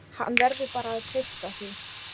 Hann verður bara að treysta því.